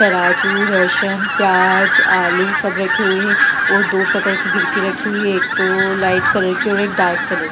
तराजू लहशन प्याजआलू सब रखे हुए हैं और दो प्रकार के घिरकी रखी है दो लाइट कलर की एक डार्क कलर की --